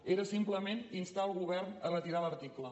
era simplement instar el govern a retirar l’article